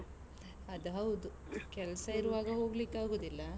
ಅದ್ ಹೌದು. ಕೆಲ್ಸ ಇರುವಾಗ ಹೋಗ್ಲಿಕೆ ಆಗುದಿಲ್ಲ.